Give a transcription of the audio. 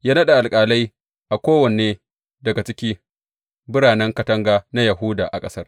Ya naɗa alƙalai a kowanne daga cikin biranen katanga na Yahuda a ƙasar.